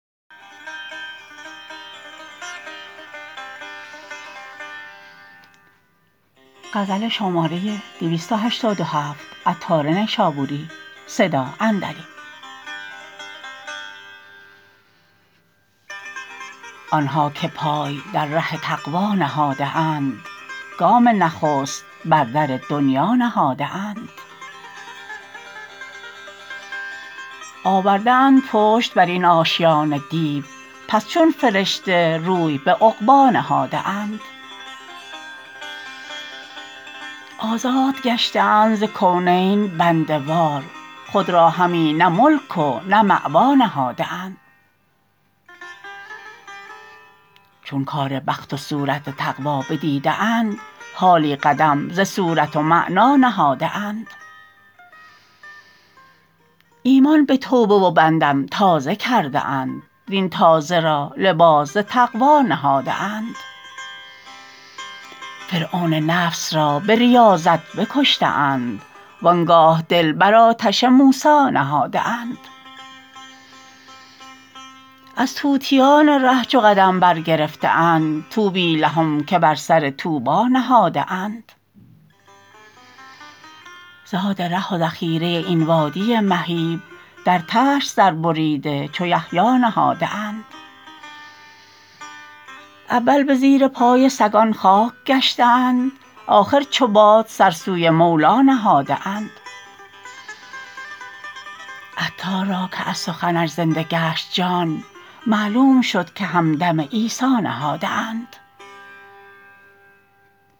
آنها که پای در ره تقوی نهاده اند گام نخست بر در دنیا نهاده اند آورده اند پشت برین آشیان دیو پس چون فرشته روی به عقبی نهاده اند آزاد گشته اند ز کونین بنده وار خود را همی نه ملک و نه مأوی نهاده اند چون کار بخت و صورت تقوی بدیده اند حالی قدم ز صورت و معنی نهاده اند ایمان به توبه و به ندم تازه کرده اند وین تازه را لباس ز تقوی نهاده اند فرعون نفس را به ریاضت بکشته اند وانگاه دل بر آتش موسی نهاده اند از طوطیان ره چو قدم برگرفته اند طوبی لهم که بر سر طوبی نهاده اند زاد ره و ذخیره این وادی مهیب در طشت سر بریده چو یحیی نهاده اند اول به زیر پای سگان خاک گشته اند آخر چو باد سر سوی مولی نهاده اند عطار را که از سخنش زنده گشت جان معلوم شد که همدم عیسی نهاده اند